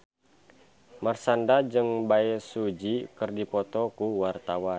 Marshanda jeung Bae Su Ji keur dipoto ku wartawan